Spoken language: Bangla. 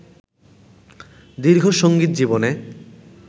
দীর্ঘ সঙ্গীত জীবনে